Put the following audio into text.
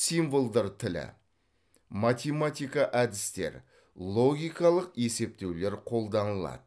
символдар тілі математика әдістер логикалық есептеулер қолданылады